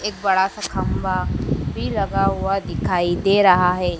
एक बड़ा सा खंभा भी लगा हुआ दिखाई दे रहा है।